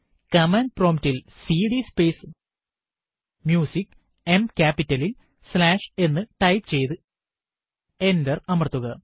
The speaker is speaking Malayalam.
കമാൻഡ് prompt ൽ സിഡി സ്പേസ് Musicഎം ക്യാപിറ്റലിൽ സ്ലാഷ് എന്ന് ടൈപ്പ് ചെയ്തു എന്റർ അമർത്തുക